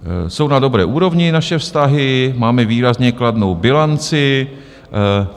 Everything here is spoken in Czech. Jsou na dobré úrovni naše vztahy, máme výrazně kladnou bilanci.